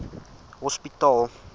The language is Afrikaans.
hospitaal